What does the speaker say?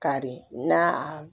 Kari na a